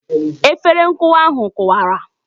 Efere nkụwa ahụ kụwara